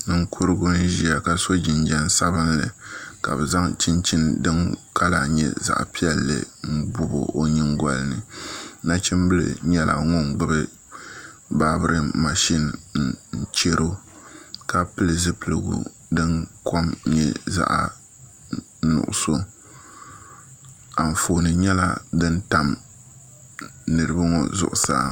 Ninkurigu n ʒiya ka so jinjɛm sabinli ka bi zaŋ chinchini din kala nyɛ zaɣ piɛlli n bobi o nyingoli ni nachimbili nyɛla ŋun gbubi baabirin mashin n chɛro ka pili zipiligu din kom nyɛ zaɣ nuɣso Anfooni nyɛla din tam niraba ŋo zuɣusaa